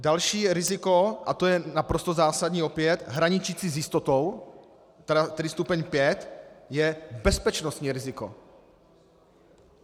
Další riziko, a to je naprosto zásadní opět, hraničící s jistotou, tedy stupeň 5, je bezpečnostní riziko.